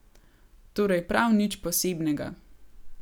Torej prav nič posebnega.